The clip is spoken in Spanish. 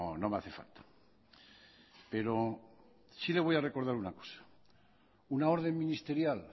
no me hace falta pero sí le voy a recordar una cosa una orden ministerial